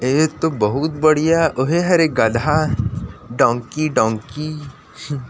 एतो बहुत बढ़िया ओहे हरय गधा डोंकी डोंकी